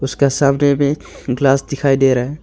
इसका सामने में ग्लास दिखाई दे रहा है।